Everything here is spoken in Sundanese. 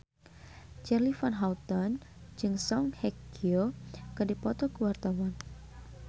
Charly Van Houten jeung Song Hye Kyo keur dipoto ku wartawan